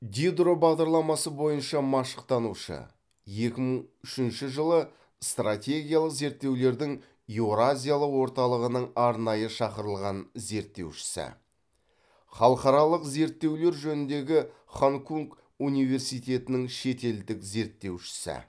дидро бағдарламасы бойынша машықтанушы екі мың үшінші жылы стратегиялық зерттеулердің еуразиялық орталығының арнайы шақырылған зерттеушісі халықаралық зерттеулер жөніндегі ханкунк университетінің шетелдік зерттеушісі